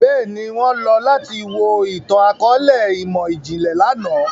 Bẹ́ẹ̀ni, wọn lọ lati wo itan-akọọlẹ imọ-jinlẹ làná.